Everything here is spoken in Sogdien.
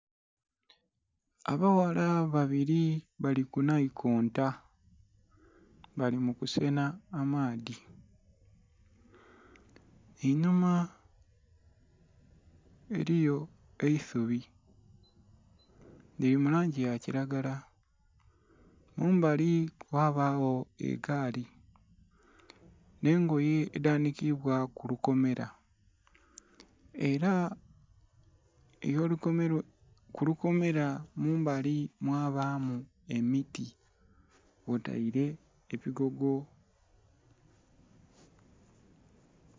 Abaghala babiri bali ku nhaikonto bali mu kusenha amaadhi, einhuma eliyo eisubi lili mu langi ya kilagala kumbali ghabagho egaali nhe ngoye edhanikibwa ku lukomera era kulukomera mumbali mwabamu emiti kwo taire ebigogo.